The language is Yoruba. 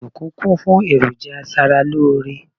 ọdunkun kún fún eroja aṣara lore